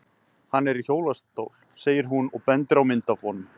Hann er í hjólastól, segir hún og bendir á mynd af honum.